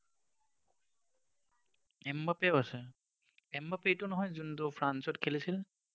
এমবাপেও আছে? এমবাপে এইটো নহয় যোনটো ফ্ৰান্সত খেলিছিল?